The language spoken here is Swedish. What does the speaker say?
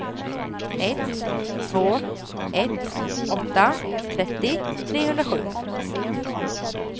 ett två ett åtta trettio trehundrasju